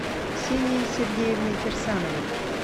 ксенией сергеевной кирсановой